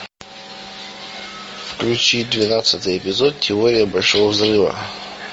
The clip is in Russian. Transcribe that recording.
включи двенадцатый эпизод теория большого взрыва